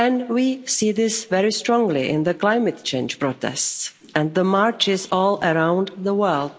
We see this very strongly in the climate change protests and the marches all around the world.